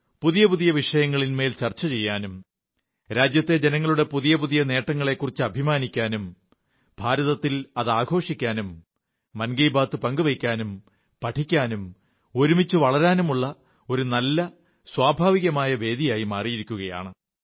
പുതിയ പുതിയ വിഷയങ്ങൾ ചർച്ച ചെയ്യാനും രാജ്യത്തെ ജനങ്ങളുടെ പുതിയ പുതിയ നേട്ടങ്ങളെക്കുറിച്ച് അഭിമാനിക്കാനും ആഘോഷിക്കാനും മൻ കീ ബാത്ത് പങ്കുവയ്ക്കാനും പഠിക്കാനും ഒരുമിച്ചു വളരാനുമുള്ള ഒരു നല്ല സ്വഭാവികമായ വേദിയായി മാറിയിരിക്കയാണ്